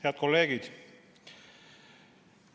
Head kolleegid!